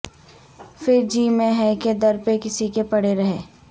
پھر جی میں ہے کہ در پہ کسی کے پڑے رہیں